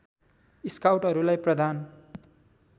स्काउटहरूलाई प्रदान